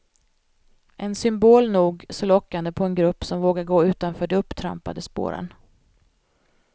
En symbol nog så lockande på en grupp som vågar gå utanför de upptrampade spåren.